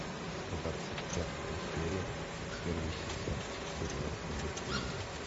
двадцать пятая серия первый сезон сериал пробуждение